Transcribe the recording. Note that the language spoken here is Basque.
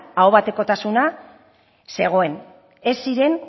ahobatezkotasuna zegoen ez ziren